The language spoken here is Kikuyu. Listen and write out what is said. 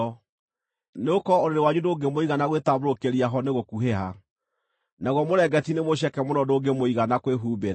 Nĩgũkorwo ũrĩrĩ wanyu ndũngĩmũigana gwĩtambũrũkĩria ho nĩ gũkuhĩha, naguo mũrĩngĩti nĩ mũceke mũno ndũngĩmũigana kwĩhumbĩra.